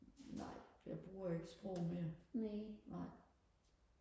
nej jeg bruger ikke sprog mere nej